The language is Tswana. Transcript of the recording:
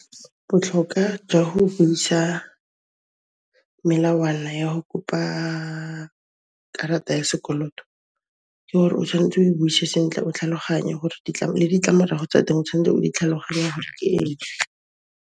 Botlhoka jwa go buisa melawana ya ho kopa karata ya sekoloto ke hore o tshwanetse o e buise sentle, o tlhaloganye hore le ditlamorago tsa teng o tshwantse o di tlhaloganya gore ke eng.